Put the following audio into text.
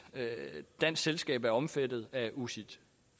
dansk selskab er omfattet af ucits